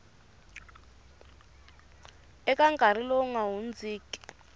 eka nkarhi lowu nga hundziki